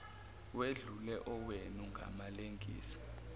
wedlule owenu ngamalengiso